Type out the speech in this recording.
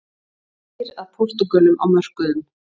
Þrengir að Portúgölum á mörkuðum